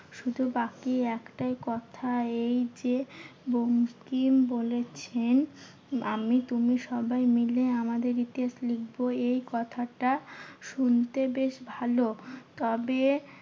শুধু বাকি একটাই কথা এই যে, বঙ্কিম বলেছেন আমি তুমি সবাই মিলে আমাদের ইতিহাস লিখবো। এই কথাটা শুনতে বেশ ভালো। তবে